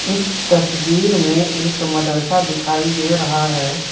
इस तस्वीर में एक मदरसा दिखाई दे रहा है।